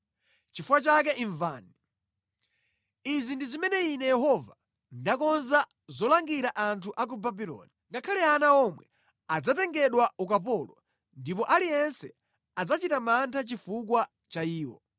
Nʼchifukwa chake imvani. Izi ndi zimene Ine Yehova ndakonza zolangira anthu a ku Babuloni. Ngakhale ana omwe adzatengedwa ukapolo ndipo aliyense adzachita mantha chifukwa cha iwo.